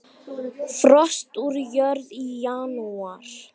Frost úr jörð í janúar.